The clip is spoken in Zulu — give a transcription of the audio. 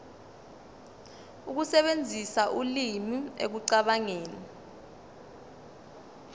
ukusebenzisa ulimi ekucabangeni